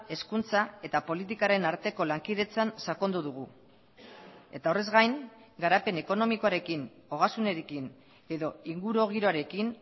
hezkuntza eta politikaren arteko lankidetzan sakondu dugu eta horrez gain garapen ekonomikoarekin ogasunarekin edo ingurugiroarekin